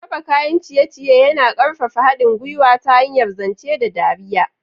Raba kayan ciye-ciye yana ƙarfafa haɗin gwiwa ta hanyar zance da dariya.